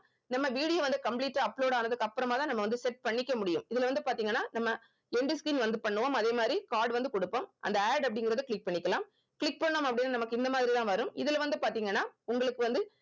நம்ம video வந்து complete ஆ upload ஆனதுக்கு அப்புறமாதான் நம்ம வந்து set பண்ணிக்க முடியும் இதுல வந்து பாத்தீங்கன்னா நம்ம end screen வந்து பண்ணுவோம் அதே மாதிரி card வந்து குடுப்போம் அந்த add அப்படிங்கறத click பண்ணிக்கலாம் click பண்ணோம் அப்படின்னு நமக்கு இந்த மாதிரி தான் வரும் இதுல வந்து பாத்தீங்கன்னா உங்களுக்கு வந்து